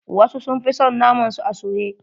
Wasu sun fi son naman su a soye.